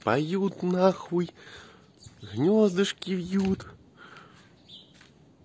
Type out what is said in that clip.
поют на хуй звёздочки вьют